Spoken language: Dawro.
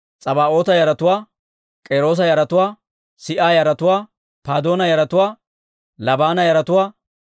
Labaana yaratuwaa, Hagaaba yaratuwaa, Shalmmaaya yaratuwaa,